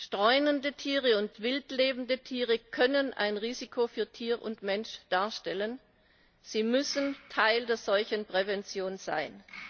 Streunende Tiere und wildlebende Tiere können ein Risiko für Tier und Mensch darstellen und sie müssen Teil der Seuchenprävention sein.